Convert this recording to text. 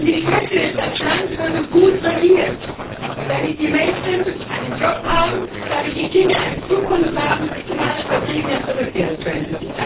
Ich wünschte, das Land würde gut regiert, damit die Menschen einen Arbeitsplatz haben, damit die Kinder eine Zukunft haben und alle Vertriebenen zurückkehren können.